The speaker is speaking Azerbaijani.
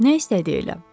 Nə istədi elə?